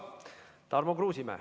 Tarmo Kruusimäe.